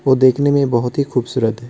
वो देखने में बहुत ही खूबसूरत हैं।